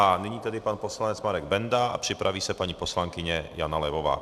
A nyní tedy pan poslanec Marek Benda a připraví se paní poslankyně Jana Levová.